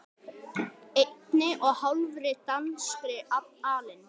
einni og hálfri danskri alin